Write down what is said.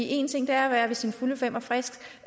en ting er at være ved sine fulde fem og frisk